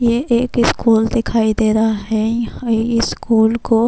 یہ ایک اسکول دکھایی دے رہا ہے، یھاں یہ اسکول کو-